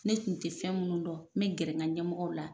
Ne tun te fɛn munnu dɔn n be gɛrɛ n ga ɲɛmɔgɔw la